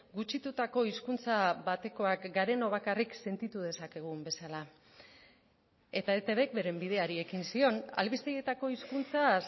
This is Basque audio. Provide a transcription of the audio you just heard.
gutxitutako hizkuntza batekoak garenok bakarrik sentitu dezakegun bezala eta etbk beren bideari ekin zion albistegietako hizkuntza